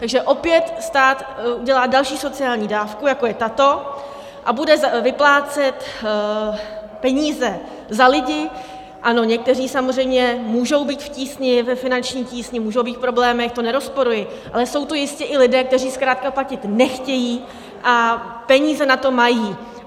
Takže opět stát udělá další sociální dávku, jako je tato, a bude vyplácet peníze za lidi - ano, někteří samozřejmě můžou být v tísni, ve finanční tísni, můžou být v problémech, to nerozporuji, ale jsou to jistě i lidé, kteří zkrátka platit nechtějí a peníze na to mají.